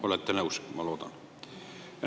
Olete nõus, ma loodan.